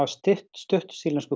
stutt stutt sýrlensku